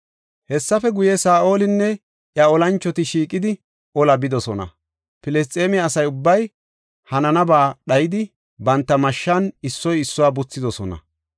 Hessafe guye, Saa7olinne iya olanchoti shiiqidi olaa bidosona. Filisxeeme asa ubbay hanana ba dhayidi, banta mashshan issoy issuwa buthidosona.